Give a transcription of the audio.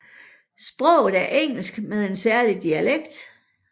Sproget er engelsk med en særlig dialekt